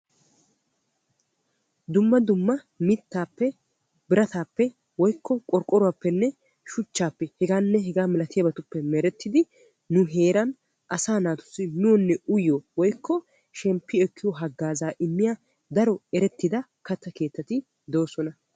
Dumma dumma mittappe biratappe woykko qorqqoruwappenne shuchchappe heganne hegaa malatiyaabatuppe merettidi nu heeraan asaa naatussi miyyiyonne uyyiyo woykko shemppi ekkiyo hagaazza immiyaa daro katta keettati doosona.